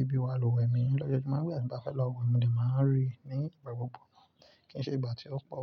ìbí wa lúwẹ̀mí. Lójojúmọ́ gbogbo ènìyàn tí bá fẹ́ lọ wẹ̀mí lè máa rí ní ìgbà gbogbo, kìí ṣe ìgbà tí ó pọ̀.